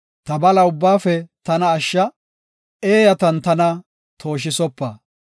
Ta bala ubbaafe tana ashsha; eeyatan tana tooshisopa.